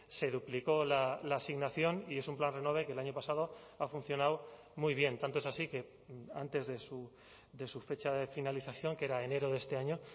se duplicó la asignación y es un plan renove que el año pasado ha funcionado muy bien tanto es así que antes de su fecha de finalización que era enero de este año